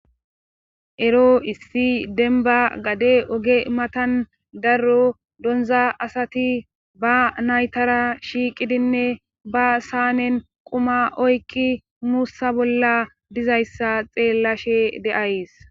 Ero issi denba gade oge matan darro donza asati ba naytara shiiqidinne ba saanen quma oykki muussa bolla dizayssa xeellashe deays